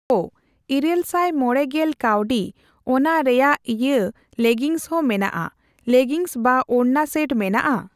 ᱚᱻ ᱤᱨᱟᱹᱞ ᱥᱟᱭ ᱢᱚᱲᱮ ᱜᱮᱞ ᱠᱟᱣᱰᱤ ᱚᱱᱟ ᱨᱮᱭᱟᱜᱤᱭᱟᱹ ᱞᱮᱜᱤᱱᱥ ᱦᱚᱸ ᱢᱮᱱᱟᱜᱼᱟ ᱾ ᱞᱮᱜᱤᱱᱥ ᱵᱟ ᱳᱲᱱᱟ ᱥᱮᱴ ᱢᱮᱱᱟᱜᱼᱟ ?